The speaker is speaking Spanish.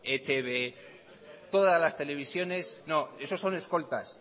etb todas las televisiones no esos son escoltas